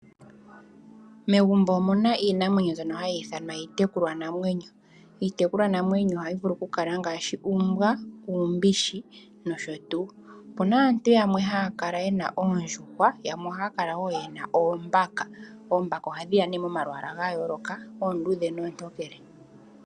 Megumbo omuna iinamwenyo mbyoka hayi ithanwa iitekulwa namwenyo. Iitekulwa namwenyo ohayi vulu okukala ngaashi uumbwa, uumbishi nosho tuu. Opuna aantu yamwe haya kala yena oondjuhwa yamwe ohaya kala wo yena oombaka, oombaka ohadhi ya ne momalwaala ga yooloka oondudhe noontokele.